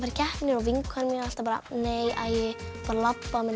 keppnir og vinkona mín er alltaf bara nei æi bara labba meðan